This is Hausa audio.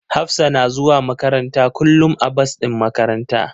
Hafsa na zuwa makaranta kullum a bas din makaranta.